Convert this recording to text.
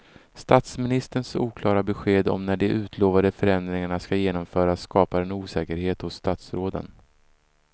Statsministerns oklara besked om när de utlovade förändringarna ska genomföras skapar osäkerhet hos statsråden.